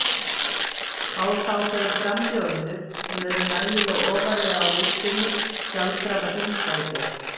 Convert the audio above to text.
Fá þá þeir frambjóðendur, sem eru nægilega ofarlega á listunum, sjálfkrafa þingsæti?